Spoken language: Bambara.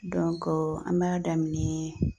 an b'a daminɛ